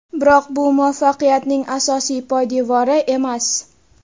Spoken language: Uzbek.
Biroq bu muvaffaqiyatning asosiy poydevori emas.